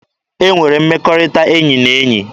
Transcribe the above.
E nwere mmekọrịta enyi na enyi.